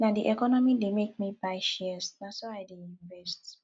na di economy dey make me buy shares na so i dey invest